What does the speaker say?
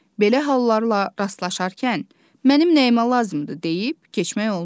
Belə hallarla rastlaşarkən mənim nəyimə lazımdır deyib keçmək olmaz.